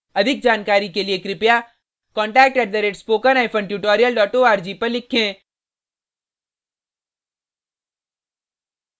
अधिक जानकारी के लिए contact @spokentutorial org पर लिखें